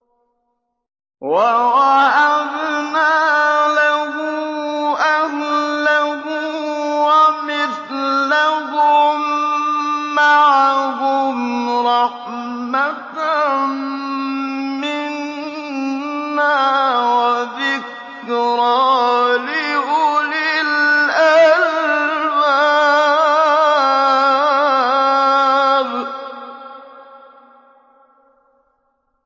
وَوَهَبْنَا لَهُ أَهْلَهُ وَمِثْلَهُم مَّعَهُمْ رَحْمَةً مِّنَّا وَذِكْرَىٰ لِأُولِي الْأَلْبَابِ